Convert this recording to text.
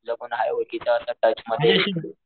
तुझं कोण आहे ओळखीचं असं टच मध्ये